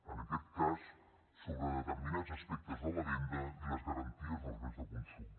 en aquest cas sobre determinats aspectes de la venda i les garanties dels béns de consum